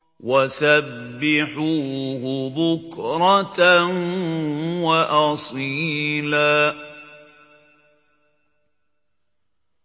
وَسَبِّحُوهُ بُكْرَةً وَأَصِيلًا